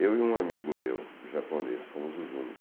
Eu e um amigo meu, japonês, fomos os únicos.